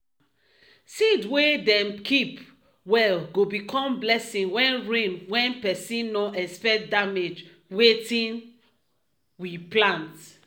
seed wey dem keep well go become blessing wen rain wen pesin nor expect damage wetin we plant.